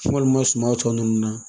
Walima suman tɔ ninnu na